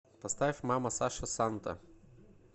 поставь мама саша санта